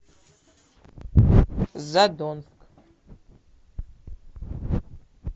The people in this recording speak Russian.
задонск